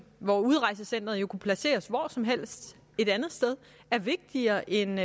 hvor udrejsecenteret jo kunne placeres hvor som helst er vigtigere end